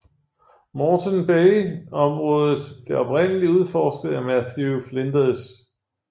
Moreton Bay området blev oprindeligt udforsket af Matthew Flinders